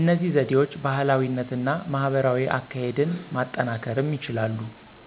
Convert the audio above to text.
እነዚህ ዘዴዎች ባህላዊነት እና ማህበራዊ አካሄድን ማጠናከርም ይችላሉ።